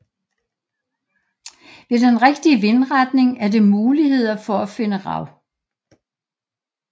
Ved den rigtige vindretning er det muligheder for at finde rav